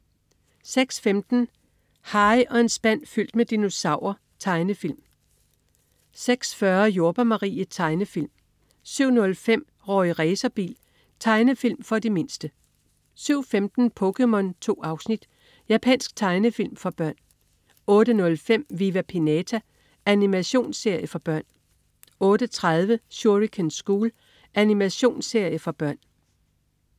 06.15 Harry og en spand fyldt med dinosaurer. Tegnefilm 06.40 Jordbær Marie. Tegnefilm 07.05 Rorri Racerbil. Tegnefilm for de mindste 07.15 POKéMON. 2 afsnit. Japansk tegnefilm for børn 08.05 Viva Pinata. Animationsserie for børn 08.30 Shuriken School. Animationsserie for børn